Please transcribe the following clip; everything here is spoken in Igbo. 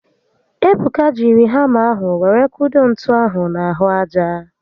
Ebuka jiri hama ahụ were kudo ntu ahụ n'ahụ aja